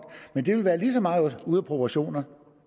men det vil være lige så meget ude af proportioner